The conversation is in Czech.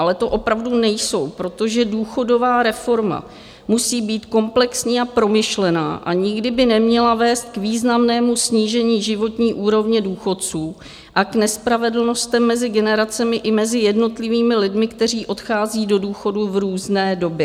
Ale to opravdu nejsou, protože důchodová reforma musí být komplexní a promyšlená a nikdy by neměla vést k významnému snížení životní úrovně důchodců a k nespravedlnostem mezi generacemi i mezi jednotlivými lidmi, kteří odchází do důchodu v různé době.